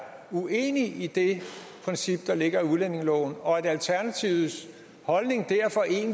uenig i det princip der ligger i udlændingeloven og alternativets holdning